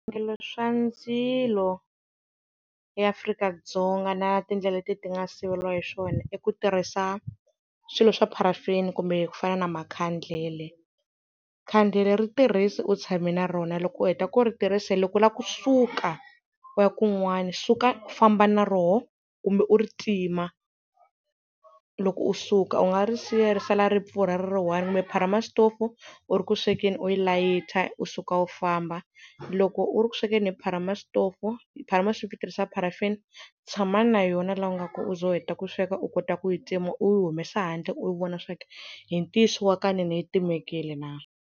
Swivangelo swa ndzilo eAfrika-Dzonga na tindlela leti ti nga siveriwa hi swona i ku tirhisa swilo swa pharafini kumbe ku fana na makhandlela. Khandlele ri tirhisi u tshami na rona loko u heta ku ri tirhise loko u la kusuka u ya kun'wani suka u famba na rona kumbe u ri tima, loko u suka u nga ri siya ri sala ri pfurha ri ri one. Kumbe pharamasitofu u ri ku swekeni uyi layita u suka u famba, loko u ri ku swekeni hi pharamasitofu, pharamasitofu yi tirhisa pharafini, tshama na yona la u nga kona u za u heta ku sweka u kota ku yi tima u yi humesa handle u vona swa ku hi ntiyiso wa ka nene yi timekile na.